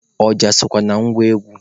Ọja sokwa na ngwa egwu